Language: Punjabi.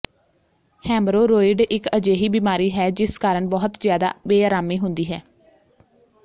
ਹੈਮਰੋਰੋਇਡ ਇੱਕ ਅਜਿਹੀ ਬਿਮਾਰੀ ਹੈ ਜਿਸ ਕਾਰਨ ਬਹੁਤ ਜ਼ਿਆਦਾ ਬੇਅਰਾਮੀ ਹੁੰਦੀ ਹੈ